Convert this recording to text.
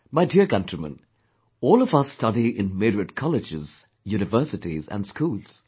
My dear countrymen, all of us study in myriad colleges, universities & schools